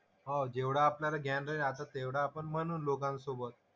हो जेवढं आपल्याला ज्ञान राहील आता तेवढा आपण म्हणू लोकांसोबत.